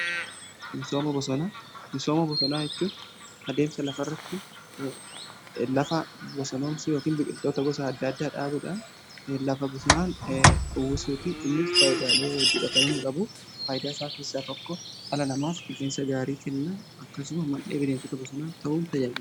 Misooma bosonaa jechuun adeemsa lafa irratti lafa bosonomsuu yookiin biqiltoota gosa adda addaa dhaabuudhaan lafa bosonaan uwwisuuti innis faayidaalae adda addaa qaba. Faayidaa isaa keessaa tokko dhala namaaf qilleensa gaarii kenna. Akkasumas man'ee bineensota bosonaa ta'uun tajaajila.